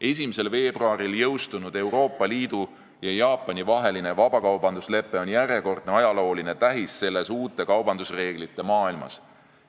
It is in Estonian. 1. veebruaril jõustunud Euroopa Liidu ja Jaapani vaheline vabakaubanduslepe on järjekordne ajalooline tähis selles uute kaubandusreeglite maailmas.